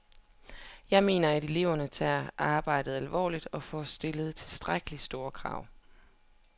Jeg mener, at eleverne tager arbejdet alvorligt, og får stillet tilstrækkeligt store krav.